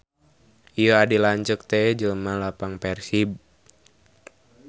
Ieu adi lanceuk teh jelema lapang Persib.